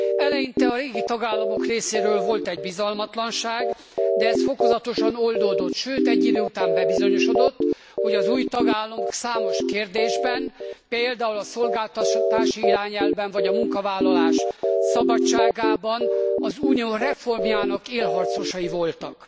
Eleinte a régi tagállamok részéről volt egy bizalmatlanság, de ez fokozatosan oldódott, sőt egy idő után bebizonyosodott, hogy az új tagállamok számos kérdésben például a szolgáltatási irányelvben, vagy a munkavállalás szabadságában az Unió reformjának élharcosai voltak.